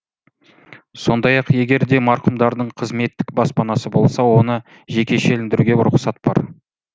сондай ақ егер де марқұмдардың қызметтік баспанасы болса оны жекешелендіруге рұқсат бар